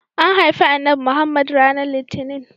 An haifi Annabi Muhammad ranar litinin.